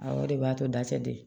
Awɔ o de b'a to da tɛ dɛ